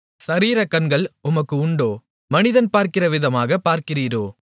சரீரக்கண்கள் உமக்கு உண்டோ மனிதன் பார்க்கிறவிதமாகப் பார்க்கிறீரோ